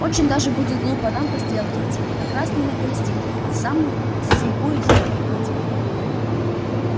очень даже будет глупо нам по стрелке идти как раз не на палестинку а в самую слепую елань угодим